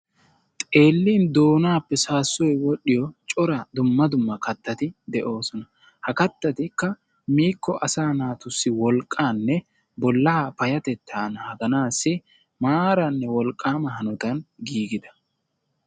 Xeellin doonaappe saassoyi wodhdhiyo cora dumma dumma kattati de"oosona. Ha kattatikka miikko asaa naatussi wolqqaanne bollaa payyatettaa naaganaassi maaranne wolqqaama hanotan giigida....